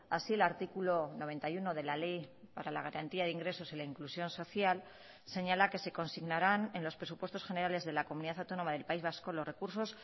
así el artículo noventa y uno de la ley para la garantía de ingresos y la inclusión social señala que se consignarán en los presupuestos generales de la comunidad autónoma del país vasco los recursos